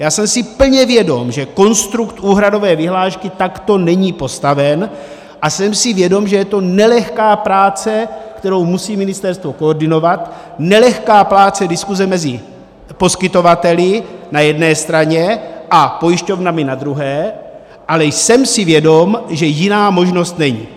Já jsem si plně vědom, že konstrukt úhradové vyhlášky takto není postaven, a jsem si vědom, že je to nelehká práce, kterou musí ministerstvo koordinovat, nelehká práce diskuse mezi poskytovateli na jedné straně a pojišťovnami na druhé, ale jsem si vědom, že jiná možnost není.